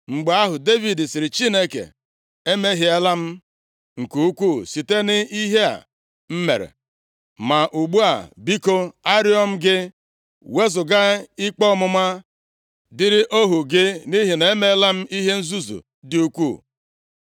Mgbe ahụ, Devid sịrị Chineke, “Emehiela m nke ukwuu site nʼihe a m mere. Ma ugbu a, biko, arịọ m gị, wezuga ikpe ọmụma dịịrị ohu gị; nʼihi na emeela m ihe nzuzu dị ukwuu.”